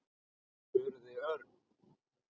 spurði Örn.